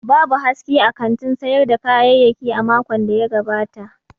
Babu haske a kantin sayar da kayayyaki a makon da ya gabata.